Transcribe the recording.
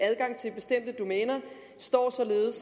adgang til bestemte domæner står